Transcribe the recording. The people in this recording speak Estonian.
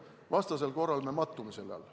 Vastasel korral me mattume selle alla.